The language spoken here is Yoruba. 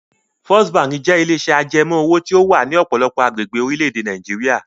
First Bank jẹ́ ilé-iṣẹ́ ajẹmoówò tí ó wà ní ọ̀pọ̀lọpọ̀ agbègbè orílẹ̀-èdè Nàìjíríà.